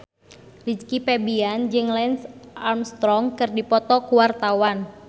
Rizky Febian jeung Lance Armstrong keur dipoto ku wartawan